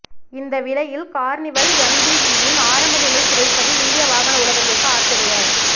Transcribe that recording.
இந்த விலையில் கார்னிவல் எம்பிவியின் ஆரம்ப நிலை கிடைப்பது இந்திய வாகன உலகத்திற்கு ஆச்சரிய